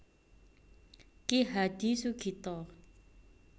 Ki Hadi Sugito